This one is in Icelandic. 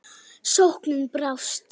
Sóknin brást.